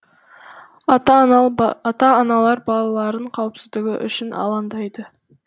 ата аналар балаларының қауіпсіздігі үшін алаңдайды